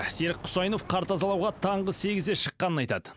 серік құсайынов қар тазалауға таңғы сегізде шыққанын айтады